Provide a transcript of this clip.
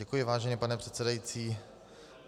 Děkuji, vážený pane předsedající.